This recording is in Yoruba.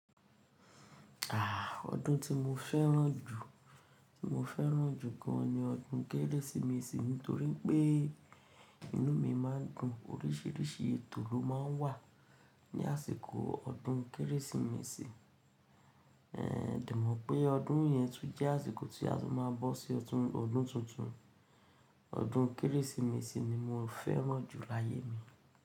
Àà, ọdún tí mo fẹ́ràn jù, tí mo fẹ́ràn jù gan ni ọdún Kérésìmesì nítorí pé inú mi má a dùn. Oríṣìíríṣìí ètò ló má a ń wà ní àsìkò ọdún Kérésìmesì. Ehn, dè mọ̀ pé ọdún yẹn tún jẹ́ àsìkò tí a tún má a bọ́ sí ọdún, ọdún tuntun. Ọdún Kérésìmesì ni mo fẹ́ràn jù láyé mi.